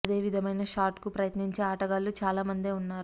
అదే విధమైన షాట్ కు ప్రయత్నించే ఆటగాళ్లు చాలా మందే ఉన్నారు